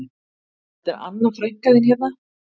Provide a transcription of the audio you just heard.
Þetta er Anna frænka þín hérna